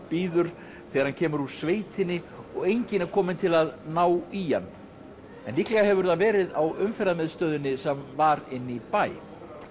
bíður þegar hann kemur úr sveitinni og enginn er kominn til að ná í hann en líklega hefur það verið á Umferðarmiðstöðinni sem var inni í bæ